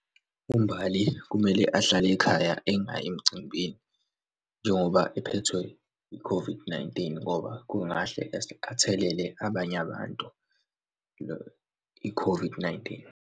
UMbali kumele ahlale ekhaya engayi emcimbini njengoba ephethwe i-COVID-19, ngoba kungahle athelele abanye abantu i-COVID-19.